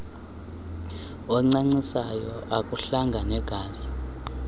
ancancisayo ukuhlanga negazi